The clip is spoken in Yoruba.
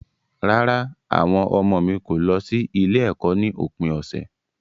Rárá, àwọn ọmọ mi kò lọ sí ilé-ẹ̀kọ́ ní òpin ọ̀sẹ̀.